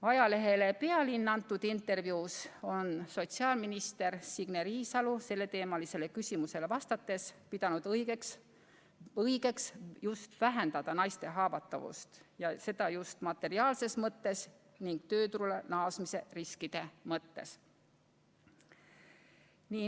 Ajalehele Pealinn antud intervjuus on sotsiaalminister Signe Riisalo selleteemalisele küsimusele vastates pidanud õigeks vähendada naiste haavatavust, ja seda just materiaalses mõttes ning tööturule naasmise riskide mõttes.